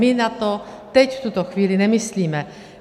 My na to teď v tuto chvíli nemyslíme.